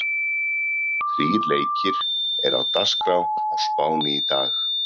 Þrír leikir eru á dagskrá á Spáni í dag.